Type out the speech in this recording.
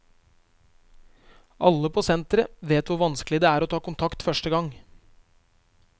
Alle på senteret vet hvor vanskelig det er å ta kontakt første gang.